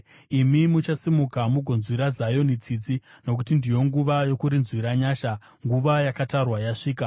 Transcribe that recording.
Imi muchasimuka mugonzwira Zioni tsitsi, nokuti ndiyo nguva yokurinzwira nyasha; nguva yakatarwa yasvika.